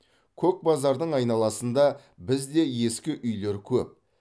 көкбазардың айналасында бізде де ескі үйлер көп